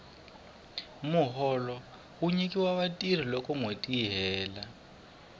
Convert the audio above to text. muholo wu nyikiwa vatirhi loko nwheti yi hela